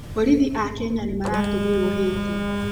Borithi a Kenya nĩmaratũmirwo Haiti.